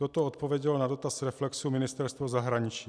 To odpovědělo na dotaz Reflexu Ministerstvo zahraničí.